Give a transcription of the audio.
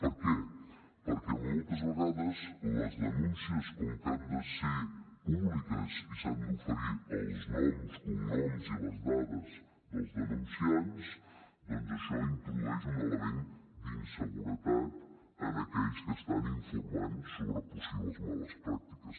per què perquè moltes vegades les denúncies com que han de ser públiques i s’han d’oferir els noms cognoms i les dades dels denunciants doncs això introdueix un element d’inseguretat en aquells que estan informant sobre possibles males pràctiques